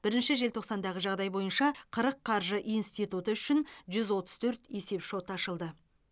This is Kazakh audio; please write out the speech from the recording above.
бірінші желтоқсандағы жағдай бойынша қырық қаржы институты үшін жүз отыз төрт есепшот ашылды